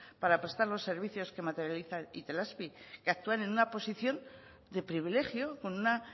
para prestar los servicios que materializa itelazpi que actúan en una posición de privilegio con una